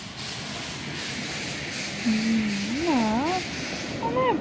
ହୁଁ ନା ମାନେ